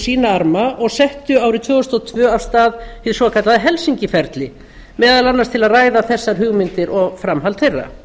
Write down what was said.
sína arma og settu árið tvö þúsund og tvö af stað hið svokallaða helsinki ferli meðal annars til að ræða þessar hugmyndir og framhald þeirra